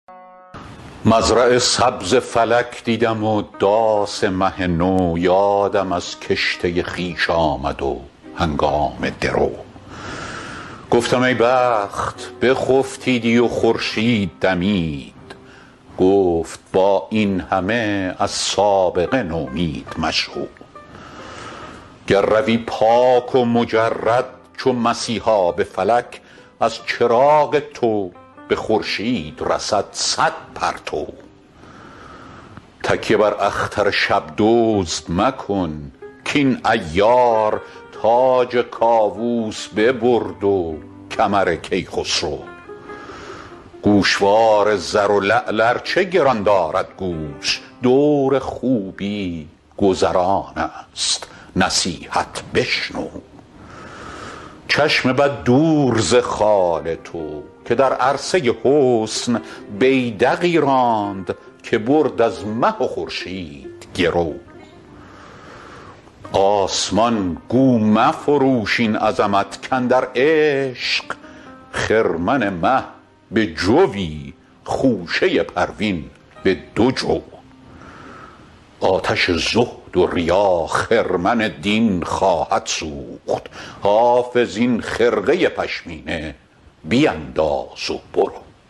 مزرع سبز فلک دیدم و داس مه نو یادم از کشته خویش آمد و هنگام درو گفتم ای بخت بخفتیدی و خورشید دمید گفت با این همه از سابقه نومید مشو گر روی پاک و مجرد چو مسیحا به فلک از چراغ تو به خورشید رسد صد پرتو تکیه بر اختر شب دزد مکن کاین عیار تاج کاووس ببرد و کمر کیخسرو گوشوار زر و لعل ار چه گران دارد گوش دور خوبی گذران است نصیحت بشنو چشم بد دور ز خال تو که در عرصه حسن بیدقی راند که برد از مه و خورشید گرو آسمان گو مفروش این عظمت کاندر عشق خرمن مه به جوی خوشه پروین به دو جو آتش زهد و ریا خرمن دین خواهد سوخت حافظ این خرقه پشمینه بینداز و برو